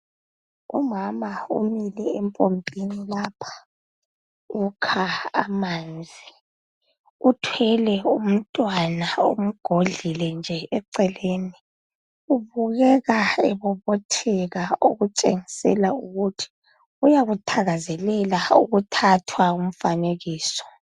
Umama umile empompini lapha ukha amanzi uthwele umntwana, umgodlile nje eceleni. Ubukeka ebobotheka okutshengisa ukuthi uyakuthakazelela ukuthathwa umfanekiso.